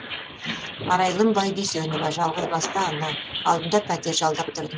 арайлым байдүйсенова жалғызбасты ана алдында пәтер жалдап тұрдым